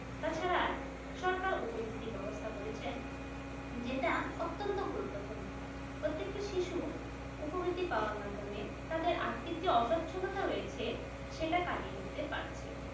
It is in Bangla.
তাছাড়া সরকার উপবৃত্তির ব্যবস্থা করেছে যেটা অত্যন্ত গুরুত্বপূর্ণ প্রত্যেকটা শিশু উপবৃত্তি পাওয়ার মাধ্যমে তাদের আর্থিক যে অসচ্ছলতা রয়েছে সেটা কাটিয়ে উঠতে পারছে।